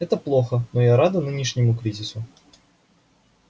это плохо но я рада нынешнему кризису